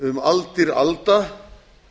um aldir alda